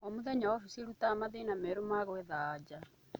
Omũthenya ofisi ĩrutaga mathĩna meru na gwetha anja.